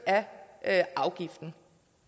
af afgiften